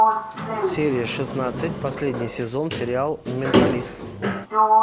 серия шестнадцать последний сезон сериал менталист